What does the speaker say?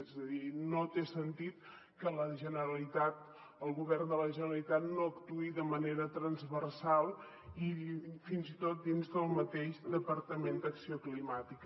és a dir no té sentit que la generalitat el govern de la generalitat no actuï de manera transversal fins i tot dins del mateix departament d’acció climàtica